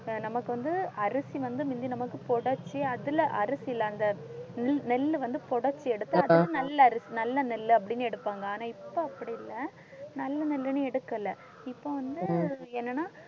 நமக்கு வந்து அரிசி வந்து முந்தி நமக்குப் புடைச்சு அதில அரிசியில அந்த நெ~ நெல்லு வந்து புடைச்சு எடுத்து அதில நல்ல அரிசி நல்ல நெல் அப்படின்னு எடுப்பாங்க ஆனா இப்ப அப்படி இல்லை நல்ல நெல்லுன்னு எடுக்கல இப்ப வந்து என்னன்னா